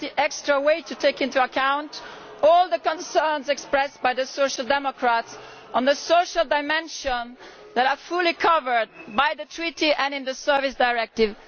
We went the extra mile to take into account all the concerns expressed by the Social Democrats on the social dimension that are fully covered by the Treaty and in the Services Directive.